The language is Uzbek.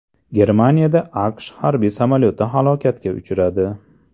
Germaniyada AQSh harbiy samolyoti halokatga uchradi.